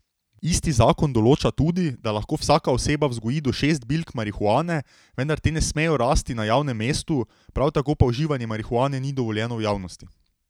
Isti zakon določa tudi, da lahko vsaka oseba vzgoji do šest bilk marihuane, vendar te ne smejo rasti na javnem mestu, prav tako pa uživanje marihuane ni dovoljeno v javnosti.